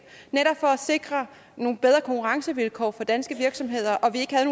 netop for at sikre nogle bedre konkurrencevilkår for danske virksomheder